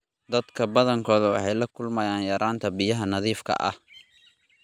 Dadka badankood waxay la kulmayaan yaraanta biyaha nadiifka ah.